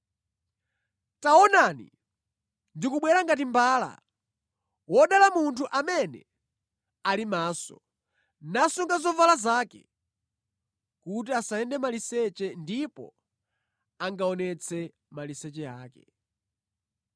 “Taonani, ndikubwera ngati mbala! Wodala munthu amene ali maso, nasunga zovala zake, kuti asayende maliseche kuti angaonetse maliseche ake.”